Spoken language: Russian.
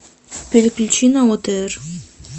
переключи на отр